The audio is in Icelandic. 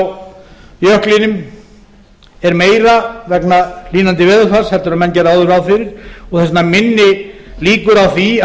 vatnsstreymi frá jöklinum er meira vegna hlýnandi veðurfars heldur en menn gerðu áður ráð fyrir og þess vegna minni líkur á að það